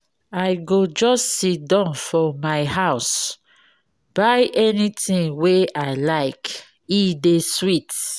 I go just siddon for my house buy anytin wey I like, e dey sweet.